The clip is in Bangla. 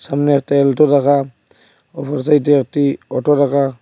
সামনেতে এলটো রাখা অপর সাইডে একটি অটো রাখা।